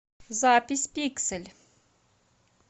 запись пиксель